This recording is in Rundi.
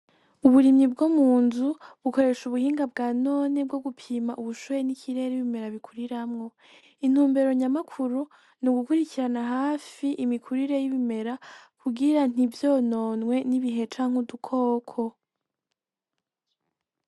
Uburimyi bwo mu nzu bukoresha ubuhinga bwa none bwo gupima ubushuhe n'ikirere ibimera bikuriramwo intumbero nyamakuru nugukurikirana hafi imikurire y'ibimera kugira ntivyononwe n'ibihe canke udukoko.